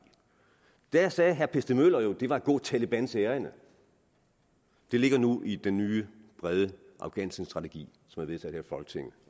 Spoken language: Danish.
da sagde herre per stig møller jo at det var at gå talebans ærinde det ligger nu i den nye brede afghanistanstrategi som er vedtaget her i folketinget